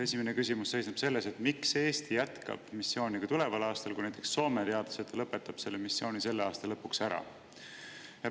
Esimene küsimus seisneb selles, miks Eesti jätkab missiooni tuleval aastal, kui näiteks Soome teatas, et ta lõpetab selle missiooni selle aasta lõpuks ära.